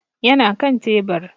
Ya na kan tebur.